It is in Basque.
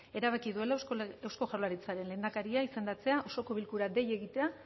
erabaki duela eusko jaurlaritzaren lehendakaria izendatzea osoko bilkura dei egitea